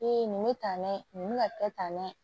Ee nin bɛ tan dɛ nin bɛ ka kɛ tan dɛ